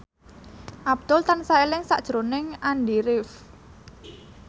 Abdul tansah eling sakjroning Andy rif